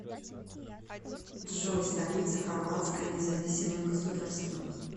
джой столица хорватское независимое государство